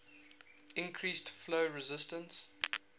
increase flow resistance